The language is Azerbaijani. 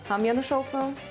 Hamınıza nuş olsun!